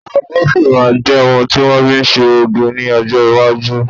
Ago sì máa jẹ ohun ti wọn fi ń ṣe oge ní ọjọ́ Iwájú